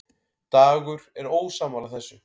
Dagur er ósammála þessu.